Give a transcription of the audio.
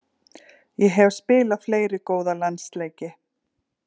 Ég hef spilað fleiri góða landsleiki.